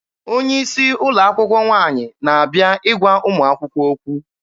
Onye isi ụlọ akwụkwọ nwaanyị na-abịa ịgwa ụmụ akwụkwọ okwu.